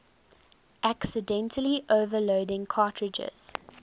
accidentally overloading cartridges